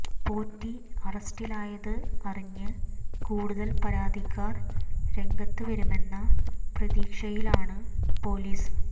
പോറ്റി അറസ്റ്റിലായത് അറിഞ്ഞ് കൂടുതൽ പരാതിക്കാർ രംഗത്ത് വരുമെന്ന പ്രതീക്ഷയിലാണ് പൊലീസ്